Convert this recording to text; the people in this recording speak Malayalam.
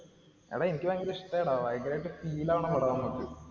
എടാ, എനിക്ക് ഭയങ്കര ഇഷ്ടായടാ, ഭയങ്കരായിട്ട് feel ആവണ പടാ നമ്മക്